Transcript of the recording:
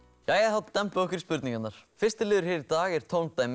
þá dembum við okkur í spurningarnar fyrsti liðurinn hér í dag er